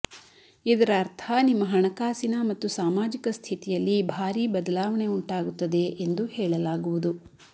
ಇದರ ಅರ್ಥ ನಿಮ್ಮ ಹಣಕಾಸಿನ ಮತ್ತು ಸಾಮಾಜಿಕ ಸ್ಥಿತಿಯಲ್ಲಿ ಭಾರೀ ಬದಲಾವಣೆ ಉಂಟಾಗುತ್ತದೆ ಎಂದು ಹೇಳಲಾಗುವುದು